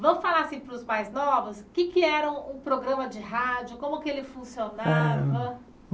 Vamos falar assim para os mais novos, o que é que era um programa de rádio, como que ele funcionava?